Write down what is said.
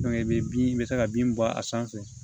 i bɛ bin i bɛ se ka bin bɔ a sanfɛ